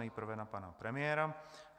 Nejprve na pana premiéra.